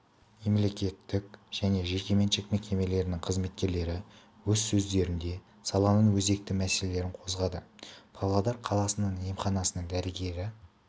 мемлекеттік және жекеменшік мекемелерінің қызметкерлері өз сөздерінде саланың өзекті мәселелерін қозғады павлодар қаласының емханасының дәрігері